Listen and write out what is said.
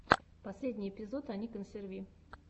последний эпизод ани консерви